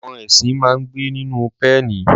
Àwọn ẹṣin máa ń gbé nínú pẹ́ẹ̀nì.